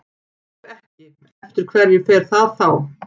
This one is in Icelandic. Ef ekki, eftir hverju fer það þá?